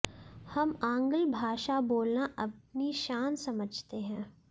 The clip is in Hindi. हम आंग्ल भाषा बोलना अपनी शान समझते हैं